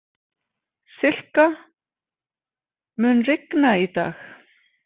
Silka, mun rigna í dag?